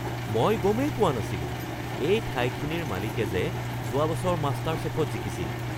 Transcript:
মই গমেই পোৱা নাছিলো এই ঠাইখিনিৰ মালিকে যে যোৱা বছৰ মাষ্টাৰছেফত জিকিছিল!